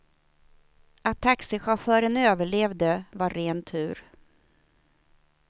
Att taxichauffören överlevde var ren tur.